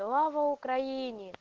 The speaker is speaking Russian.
слава украине